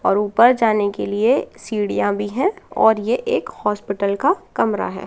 और ऊपर जाने के लिए सीढ़ियां भी है और ये एक हॉस्पिटल का कमरा है।